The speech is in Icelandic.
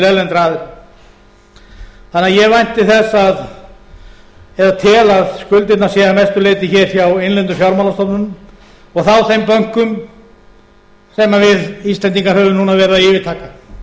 erlendra aðila þannig að ég vænti þess eða tel að skuldirnar séu að mestu leyti hjá innlendum fjármálastofnunum og hjá þeim bönkum sem við íslendingar höfum nú verið að yfirtaka